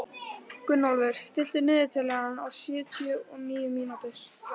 Gunnólfur, stilltu niðurteljara á sjötíu og níu mínútur.